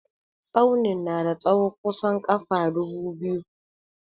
Tsaunin na da tsahon kusan ƙafa dubu biyu.